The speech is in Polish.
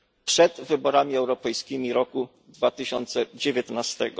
przed wyborami europejskimi w 2019 r.